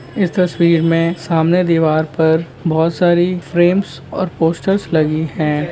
इस तस्वीर मे सामने दीवार पर बहुत सारी फ्रेम्स और पोस्टर्स लगी है।